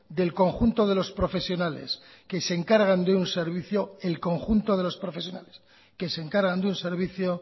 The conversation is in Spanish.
del conjunto de los profesionales que se encargan de un servicio